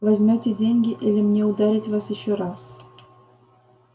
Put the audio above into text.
возьмёте деньги или мне ударить вас ещё раз